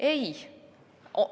Ei!